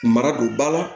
Mara don ba la